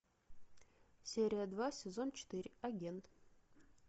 серия два сезон четыре агент